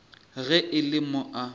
ge e le mo a